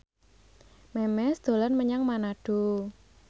Memes dolan menyang Manado